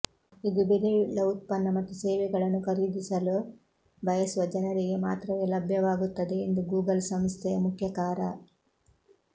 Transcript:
ಇದು ಬೆಲೆಯುಳ್ಳ ಉತ್ಪನ್ನ ಮತ್ತು ಸೇವೆಗಳನ್ನು ಖರೀದಿಸಲು ಬಯಸುವ ಜನರಿಗೆ ಮಾತ್ರವೇ ಲಭ್ಯವಾಗುತ್ತದೆ ಎಂದು ಗೂಗಲ್ ಸಂಸ್ಥೆಯ ಮುಖ್ಯ ಕಾರ